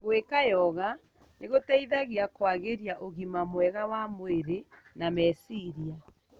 Gwika Yoga nĩgũteithagia kũagĩria ũgima mwega wa mwrĩ na meciria.